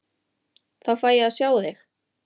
Þá fæ ég að sjá þig.